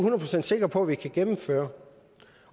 procent sikker på vi kan gennemføre